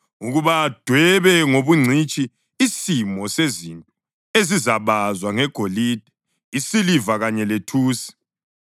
ukuba adwebe ngobungcitshi isimo sezinto ezizabazwa ngegolide, isiliva kanye lethusi,